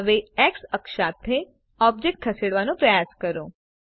હવે એક્સ અક્ષ સાથે ઓબ્જેક્ટ ખસેડવાનો પ્રયાસ કરો